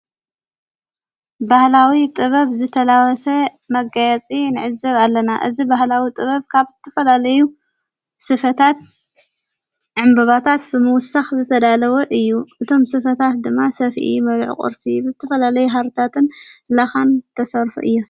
በህላዊ ጥበብ ዝተላወሰ መጋያፂ ንዕዘብ ኣለና ።እዝ በህላዊ ጥበብ ካብ ዝትፈላለዩ ስፈታት ዕምበባታት ብምዉሳኽ ዘተዳለወ እዩ። እቶም ሥፈታት ድማ ሰፊኢ መልዕ ቝርሲ ብዝትፈለለይ ሃርታትን ለኻን ተሠርሑ እዮም።